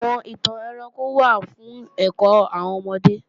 Àwọn ìtàn ẹranko wà fún ẹ̀kọ́ àwọn ọmọdé